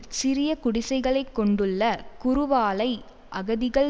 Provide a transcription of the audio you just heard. சிறிய குடிசைகளைக் கொண்டுள்ள குருவாலை அகதிகள்